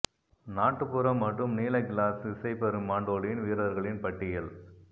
நாட்டுப்புற மற்றும் நீல கிளாஸ் இசை பெரும் மான்டோலின் வீரர்களின் பட்டியல்